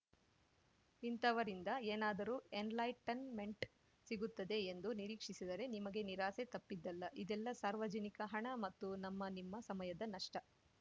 ಇಂಥವರಿಂದ ಏನಾದರೂ ಎನ್‌ಲೈಟನ್‌ಮೆಂಟ್‌ ಸಿಗುತ್ತದೆ ಎಂದು ನಿರೀಕ್ಷಿಸಿದರೆ ನಿಮಗೆ ನಿರಾಸೆ ತಪ್ಪಿದ್ದಲ್ಲ ಇದೆಲ್ಲ ಸಾರ್ವಜನಿಕ ಹಣ ಮತ್ತು ನಮ್ಮ ನಿಮ್ಮ ಸಮಯದ ನಷ್ಟ